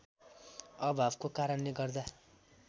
अभावको कारणले गर्दा